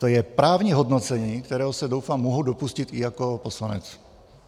To je právní hodnocení, kterého se doufám mohu dopustit i jako poslanec.